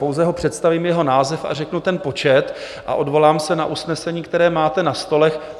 Pouze ho představím, jeho název a řeknu ten počet a odvolám se na usnesení, které máte na stolech.